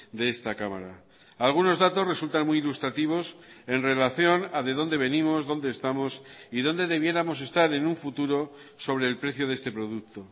de esta cámara algunos datos resultan muy ilustrativos en relación a de dónde venimos dónde estamos y dónde debiéramos estar en un futuro sobre el precio de este producto